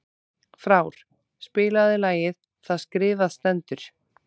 Frár, spilaðu lagið „Það skrifað stendur“.